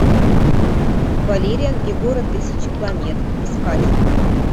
валериан и город тысячи планет искать